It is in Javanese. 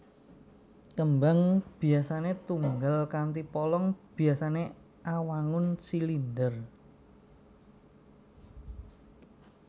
Kembang biasané tunggal kanthi polong biasané awangun silinder